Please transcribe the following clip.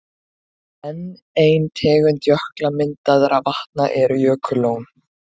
Enn ein tegund jökulmyndaðra vatna eru jökullón.